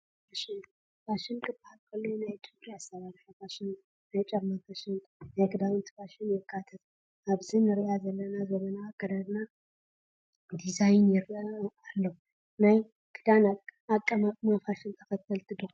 ፋሽን፡- ፋሽን ክባሃል ከሎ ናይ ጨጉሪ ኣሰራርሓ ፋሽን፣ ናይ ጫማ ፋሽን፣ ናይ ክዳውንቲ ፋሽንን የካትት፡፡ ኣብዚ ንሪኦ ዘለና ዘመናዊ ኣካደድና ዲዛይን ይረአ ኣሎ፡፡ ናይ ክዳን ኣቐማቕማ ፋሽን ተኸተልቲ ዲኹም?